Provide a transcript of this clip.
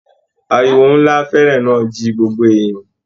Àríwó nlá fèèrè náà ji gbogbo èèyàn.